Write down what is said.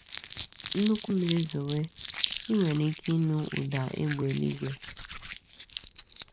Nnukwu mmiri zowe, i nwere ike ịnụ ụda égbè eluigwe.